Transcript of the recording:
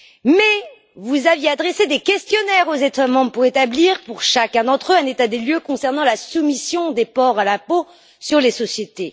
Mais vous aviez adressé des questionnaires aux États membres pour établir, pour chacun d'entre eux, un état des lieux concernant la soumission des ports à l'impôt sur les sociétés.